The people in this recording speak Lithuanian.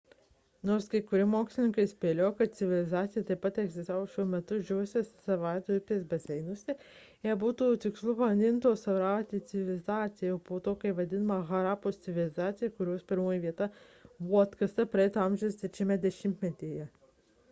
nors kai kurie mokslininkai spėlioja kad civilizacija taip pat egzistavo šiuo metu išdžiūvusios sarasvati upės baseine ją būtų tikslu vadinti indo-sarasvati civilizacija o kai kas vadina harapos civilizacija kurios pirmoji vieta buvo atkasta praeito amžiaus trečiajame dešimtmetyje